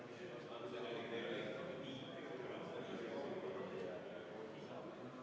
Poolt 36, vastuolijaid ja erapooletuid ei ole.